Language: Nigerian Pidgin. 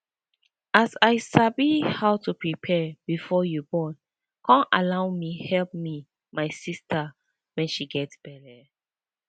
as i sabi how to prepare before you born con allow me help me my sister wen she get belle